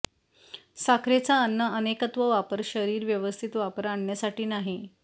साखरेचा अन्न अनेकत्व वापर शरीर व्यवस्थित वापर आणण्यासाठी नाही